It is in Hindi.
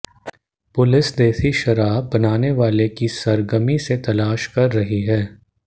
पुलिस देशी शराब बनाने वाले की सरगर्मी से तलाश कर रही है